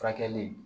Furakɛli